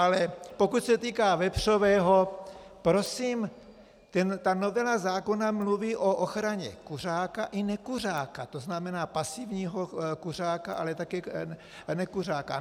Ale pokud se týká vepřového, prosím, ta novela zákona mluví o ochraně kuřáka i nekuřáka, to znamená pasivního kuřáka, ale také nekuřáka.